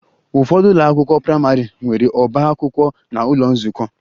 Ụfọdụ ụlọ akwụkwọ praịmarị nwere ọba akwụkwọ na ụlọ nzukọ